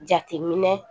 Jateminɛ